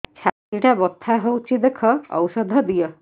ଛାତି ଟା ବଥା ହଉଚି ଦେଖ ଔଷଧ ଦିଅ